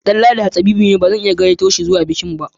Danladi hatsabibi ne bazan iya gayyato shi zuwa bikin ba